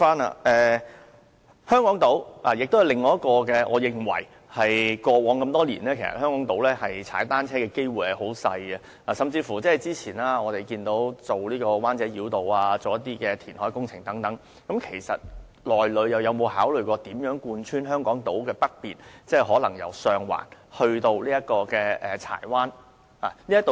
另外，過往多年，我認為在香港島踏單車的機會相當小，不過，早前規劃中環灣仔繞道和相關的填海工程時，有否考慮建設海濱單車徑貫穿香港島的北面，即可能由上環至柴灣呢？